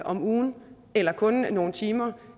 om ugen eller kun nogle timer